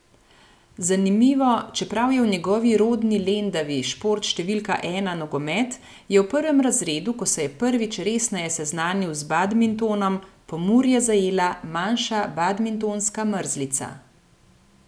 Zanimivo, čeprav je v njegovi rodni Lendavi šport številka ena nogomet, je v prvem razredu, ko se je prvič resneje seznanil z badmintonom, Pomurje zajela manjša badmintonska mrzlica.